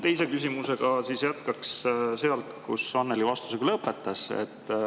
Teise küsimusega jätkaks sealt, kus Annely vastuse lõpetas.